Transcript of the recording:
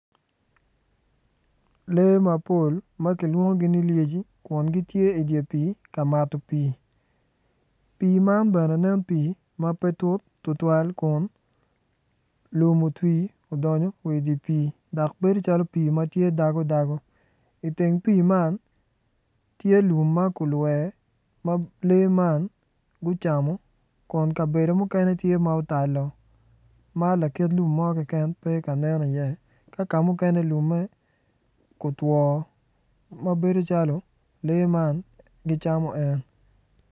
Lee mapol ma kilwongogi ni lyeci gitye i dye pii ka mato pii. Pii man bene nen pii ma pe tut tutwal kun lum otwi odongo wa i dye pii dok bedo calo pii ma tye dagodago i teng pii man tye lum ma kulwer ma lee man gucamo kun kabedo mukene otal woko ma lakit lum mo keken pe ka nen iye ka kamukene lumme otwo ma bedo calo lee man gicamo en.